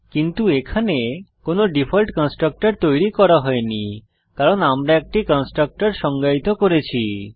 কিন্তু এখানে কোনো ডিফল্ট কনস্ট্রাক্টর তৈরী করা হয়নি কারণ আমরা একটি কনস্ট্রাক্টর সংজ্ঞায়িত করেছি